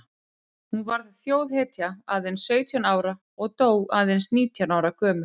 Hún varð þjóðhetja aðeins sautján ára og dó aðeins nítján ára gömul.